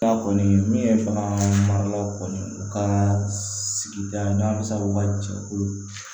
min bagan maralaw kɔni u ka sigida n'an bɛ se u ka jɛkulu